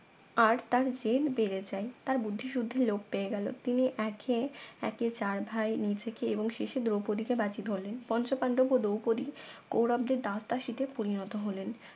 আর তার জেল বেড়ে যায় তার বুদ্ধি শুদ্ধির লোপ পেয়ে গেল তিনি একে একে চার ভাই নিজেকে এবং শেষে দ্রৌপদীতে বাজি ধরলেন পঞ্চপান্ডবও দ্রপদি কৌরবদের দাস দাসীতে পরিনত হলেন